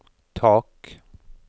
tak